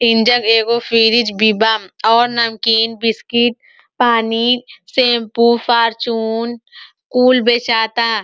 इंजग एगो फीरिज भी बा और नमकीन बिस्किट पानी शैम्पू फार्चून कुल बेचाता।